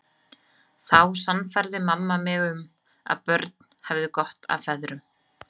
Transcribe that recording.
Þá sannfærði mamma mig um að börn hefðu gott af feðrum.